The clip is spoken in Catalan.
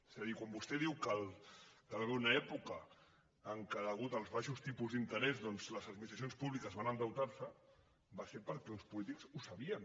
és a dir quan vostè diu que hi va haver una època en què a causa dels baixos tipus d’interès doncs les administracions públiques van endeutar se va ser perquè uns polítics ho sabien